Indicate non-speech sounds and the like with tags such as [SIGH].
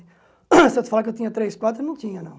[COUGHS] Se eu te falar que eu tinha três, quatro, eu não tinha, não.